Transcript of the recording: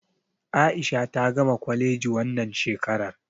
A'isha ta gama kwaleji wannan shekarar.